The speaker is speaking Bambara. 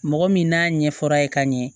Mɔgɔ min n'a ɲɛfɔr'a ye ka ɲɛ